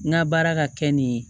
N ka baara ka kɛ nin ye